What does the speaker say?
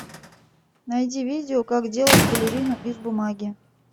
найди видео как делать балерину из бумаги